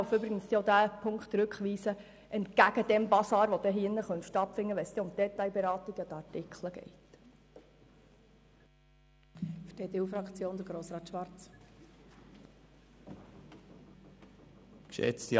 Wir helfen übrigens auch, diesen Punkt zurückweisen, entgegen dem Basar, der stattfinden könnte, wenn es um die Detailberatung bei den Artikeln geht.